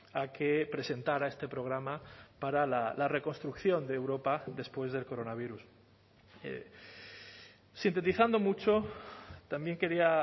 a que presentara este programa para la reconstrucción de europa después del coronavirus sintetizando mucho también quería